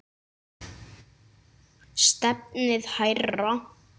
Stefnið hærra.